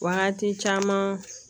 Wagati caman